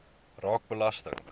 raak belasting